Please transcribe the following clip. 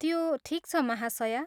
त्यो ठिक छ महाशया।